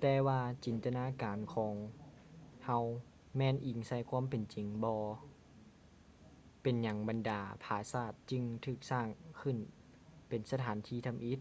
ແຕ່ວ່າຈິນຕະນາການຂອງເຮົາແມ່ນອີງໃສ່ຄວາມເປັນຈິງບໍ ເປັນຫຍັງບັນດາຜາສາດຈຶ່ງຖືກສ້າງຂຶ້ນເປັນສະຖານທີ່ທຳອິດ